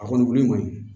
A kɔni wuli kɔni